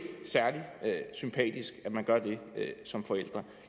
særlig sympatisk at man gør det som forældre